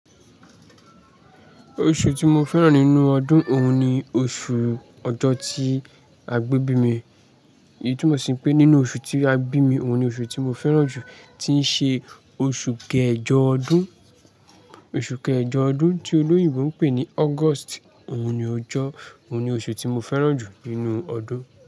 Oṣù tí mo fẹ́ràn nínú ọdún òun ni oṣù ọjọ́ tí a gbé bí mi. Èyí tu mo sì ń pé nínú oṣù tí a bí mi, òun ni oṣù tí mo fẹ́ràn jù, tí ń ṣe oṣù kẹjọ ọdún. Oṣù kẹjọ ọdún tí olóyìnbo ń pè ní August, òun ni ó jọ, òun ni oṣù tí mo fẹ́ràn jù nínú ọdún.